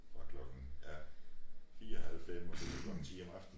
Fra klokken ja 4 halv 5 og så til klokken 10 om aftenen